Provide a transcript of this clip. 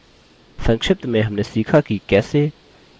संक्षिप्त में हमने सीखा कि कैसे: